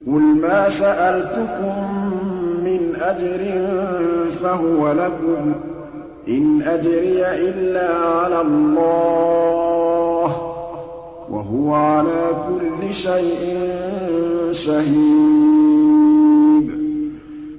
قُلْ مَا سَأَلْتُكُم مِّنْ أَجْرٍ فَهُوَ لَكُمْ ۖ إِنْ أَجْرِيَ إِلَّا عَلَى اللَّهِ ۖ وَهُوَ عَلَىٰ كُلِّ شَيْءٍ شَهِيدٌ